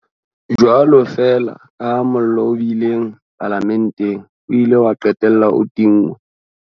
Jwalo feela kaha mollo o bileng Palamenteng o ile wa qetella o tinngwe,